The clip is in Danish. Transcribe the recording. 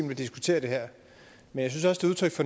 vi diskutere det her men